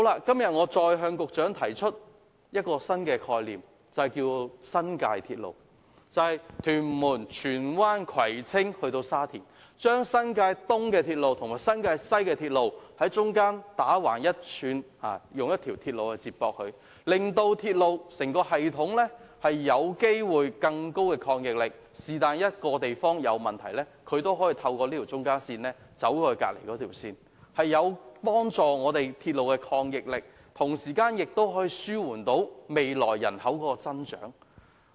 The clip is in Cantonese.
今天我再向局長提出一個新概念，稱之為新界鐵路，由屯門、荃灣、葵青至沙田，在新界東鐵路與新界西鐵路之間接駁一條橫向的鐵路，提高整個鐵路系統的應變能力，一旦某地區出現問題，便可以透過這條中間線將乘客轉移到另一條線，同時亦可紓緩未來人口增長的運輸需求。